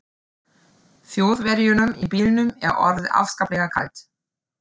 Þjóðverjunum í bílnum er orðið afskaplega kalt.